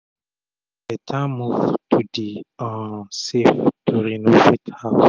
na beta move to dey um save to renovate house